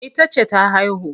Ita ce ta haihu.